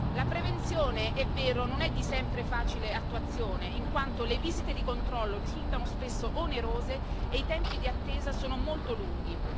La prevenzione, è vero, non è di sempre facile attuazione, in quanto le visite di controllo risultano spesso onerose e i tempi di attesa sono molto lunghi.